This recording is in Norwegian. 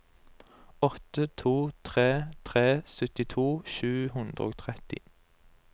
åtte to tre tre syttito sju hundre og tretti